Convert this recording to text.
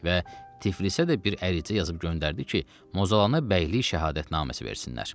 Və Tiflisə də bir ərizə yazıb göndərdi ki, Mozalana bəylik şəhadətnaməsi versinlər.